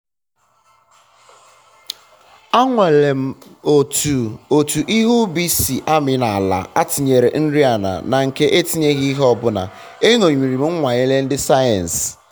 anwalere m otu otu ihe ubi si amị na ala atịnyere nri ala na nke atinyeghi ihe ọbụla. enyomiri m nnwale ndị sayensị